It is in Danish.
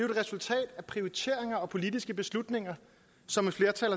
resultat af prioriteringer og politiske beslutninger som et flertal